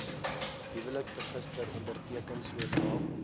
huweliksregister onderteken sodra